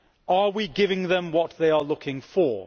Are we giving them what they are looking for?